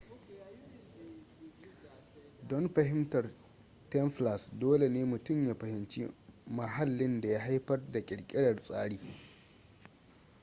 don fahimtar templars dole ne mutum ya fahimci mahallin da ya haifar da ƙirƙirar tsari